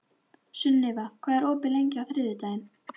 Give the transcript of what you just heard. Sunniva, hvað er opið lengi á þriðjudaginn?